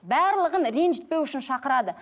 барлығын ренжітпеу үшін шақырады